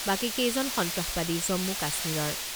বাকীকেইজন সন্ত্ৰাসবাদী জম্মু কাশ্মীৰৰ।